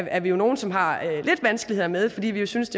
er vi jo nogle som har lidt vanskeligheder med fordi vi synes